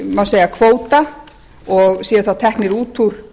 má segja kvóta og séu þá teknir út úr